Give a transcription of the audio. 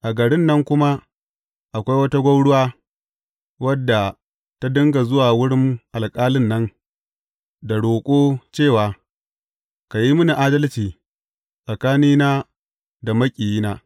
A garin nan kuma, akwai wata gwauruwa, wadda ta dinga zuwa wurin alƙalin nan, da roƙo cewa, Ka yi mini adalci tsakanina da maƙiyina.’